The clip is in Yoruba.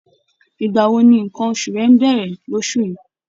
Ìgbà wo ni nǹkan oṣù rẹ ń bẹ̀rẹ̀ lóṣù yìí?